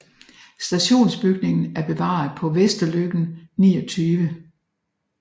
Stationsbygningen er bevaret på Vesterløkken 29